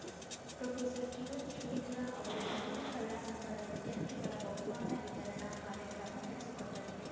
professor TM Sridhara ಅವರು ಲಲಿತ ಕಲಾ ಸಂಘದ ವಿದ್ಯಾರ್ಥಿಗಳ ಬಹುಮಾನ ವಿತರಣಾ ಕಾರ್ಯಕ್ರಮ ನಡೆಸಿಕೊಟ್ಟರು